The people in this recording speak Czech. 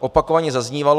opakovaně zaznívalo.